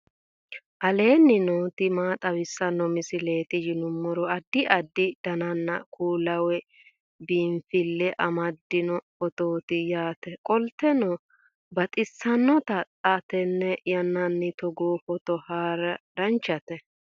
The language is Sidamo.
aleenni nooti maa xawisanno misileeti yinummoro addi addi dananna kuula woy biinsille amaddino footooti yaate qoltenno baxissannote xa tenne yannanni togoo footo haara danvchate